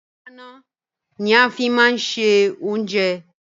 Ìkòkò ìdáná ni a fi máa ń ṣe oúnjẹ.